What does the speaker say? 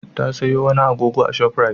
Ta sayo wani agogo a Shop Rite.